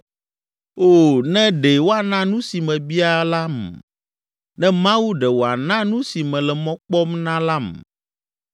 “O, ne ɖe woana nu si mebia lam, ne Mawu ɖe wòana nu si mele mɔ kpɔm na lam,